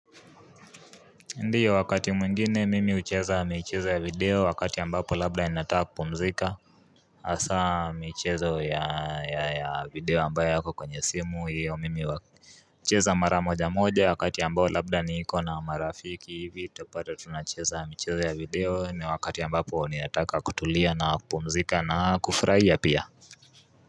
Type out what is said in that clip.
Ndiyo, wakati mwingine mimi hucheza michezo ya video wakati ambapo labda ninataka kupumzika hasa michezo ya video ambayo yako kwenye simu hiyo mimi hucheza mara moja moja wakati ya ambao labda niko na marafiki hivi, utapata tunacheza michezo ya video na wakati ambapo ninataka kutulia na kupumzika na kufurahia pia.